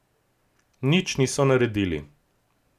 Nič niso naredili.